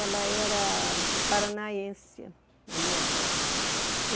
Ela era paranaense, a minha avó.